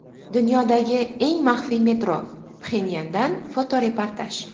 Dunyodagi eng maxfiy metro: Pxenyandan fotoreportaj.